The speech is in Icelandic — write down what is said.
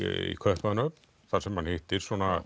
Kaupmannahöfn þar sem hann hittir